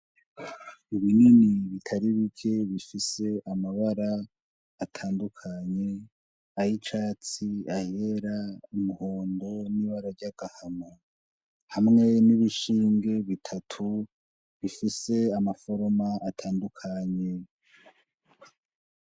Ibinini bitari bike bifise amabara atandukanye ay'icatsi, ayera, umuhondo n'ibara ry'agahama hamwe n' ibishinge bitatu bifise ama foroma atandukanye.